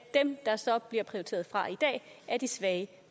dem der så bliver prioriteret fra i dag er de svage